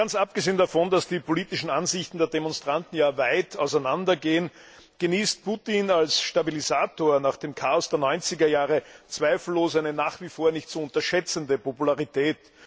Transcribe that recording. Ganz abgesehen davon, dass die politischen Ansichten der Demonstranten weit auseinandergehen, genießt Putin als Stabilisator nach dem Chaos der 90er Jahre zweifellos eine nach wie vor nicht zu unterschätzende Popularität.